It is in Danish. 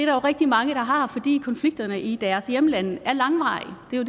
jo rigtig mange der har fordi konflikterne i deres hjemlande er langvarige det er